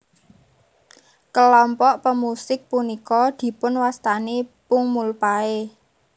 Kelompok pemusik punika dipunwastani pungmulpae